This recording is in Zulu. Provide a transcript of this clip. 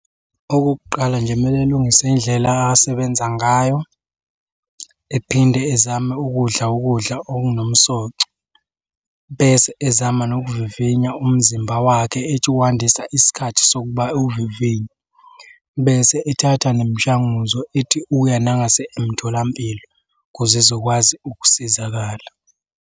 Okokuqala nje kumele alungise indlela akasebenza ngayo. Ephinde ezame ukudla ukudla okunomsoco, bese ezama nokuvivinya umzimba wakhe ethi ukwandisa isikhathi sokuba ewuvivinye. Bese ethatha nemishanguzo ethi uya nangase emtholampilo ukuze ezokwazi ukusizakala.